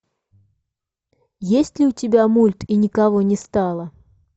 есть ли у тебя мульт и никого не стало